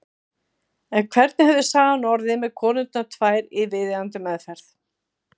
En hvernig hefði sagan orðið með konurnar tvær í viðeigandi meðferð?